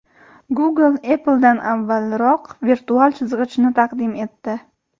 Google Apple’dan avvalroq virtual chizg‘ichni taqdim etdi.